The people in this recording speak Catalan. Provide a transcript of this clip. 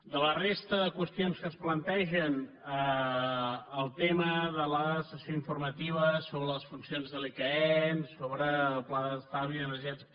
de la resta de qüestions que es plantegen el tema de la sessió informativa sobre les funcions de l’icaen sobre el pla d’estalvi energètic